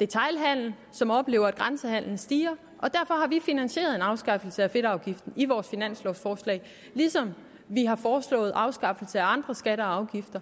detailhandel som oplever at grænsehandelen stiger og derfor har vi finansieret en afskaffelse af fedtafgiften i vores finanslovforslag ligesom vi har foreslået en afskaffelse af andre skatter og afgifter